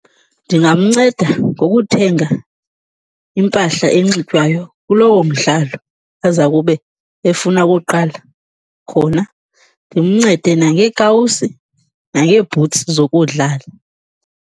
Ndingamnceda ngokuthenga impahla enxitywayo kulowo mdlalo aza kube efuna ukuwuqala khona. Ndimncede nangeekawusi nangeebhutsi zokudlala.